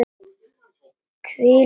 Hvílík heppni!